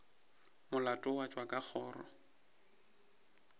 molato wa tšwa ka kgoro